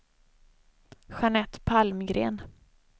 Jeanette Palmgren